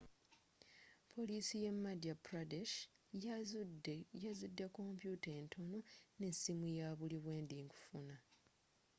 poliisi ye madya pradesh yazudde kompuuta entono nesimu yabuliwendi nkufuna